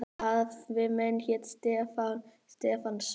Afi minn hét Stefán Stefánsson.